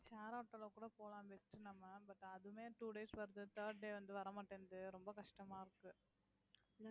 share auto ல கூட போலாம் best உ நம்ம but அதுவுமே two days வருது third day வந்து வரமாட்டேன்து ரொம்ப கஷ்டமா இருக்கு